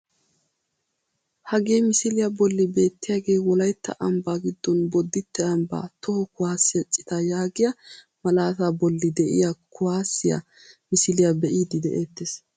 Hagee misiliyaa bolli beettiyaagee wolaytta ambbaa giddon bodite ambbaa toho kuwaasiyaa citaa yaagiyaa malataa bolli de'iyaa kuwaasiyaa misiliyaa be'iidi de'ettees.